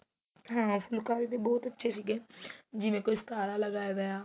ਹਾਂ ਫੁਲਕਾਰੀ ਦੇ ਬਹੁਤ ਅੱਛੇ ਸੀਗੇ ਜਿਵੇਂ ਕੋਈ ਸਤਾਰਾ ਲਗਾਇਆ ਵੇ